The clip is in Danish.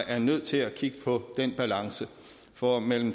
er nødt til at kigge på den balance for mellem